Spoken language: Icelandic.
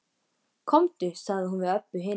Komdu, sagði hún við Öbbu hina.